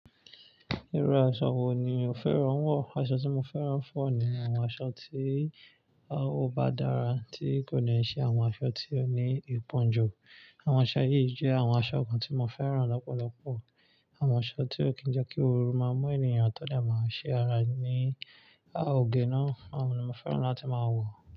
Irú aṣọ wo ni o fẹ́ràn wọ̀? Aṣọ tí mo fẹ́ràn fún ọ̀ ni àwọn aṣọ tí a ó bá dára, tí kò ní ṣe àwọn aṣọ tí ó ní ipọn jù. Àwọn aṣọ yìí jẹ́ àwọn aṣọ kan tí mo fẹ́ràn lọ́pọ̀lọpọ̀. Àwọn aṣọ tí ó kí ń jẹ́ kí oorun máa mọ́ ènìyàn, tọ́ dà máa ṣé ara ní òge náà. Àwọn ni mo fẹ́ràn láti máa wọ̀